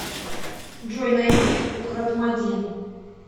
джой найди ухратмадим